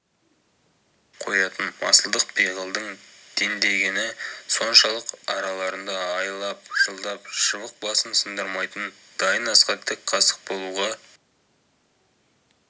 қоятын масылдық пиғылдың дендегені соншалық араларында айлап-жылдап шыбық басын сындырмайтын дайын асқа тік қасық болуға